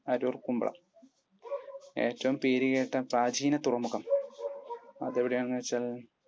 അരൂർ കുമ്പളം. ഏറ്റവും പേരുകേട്ട പ്രാചീന തുറമുഖം? അതെവിടെയാണെന്ന് വച്ചാൽ,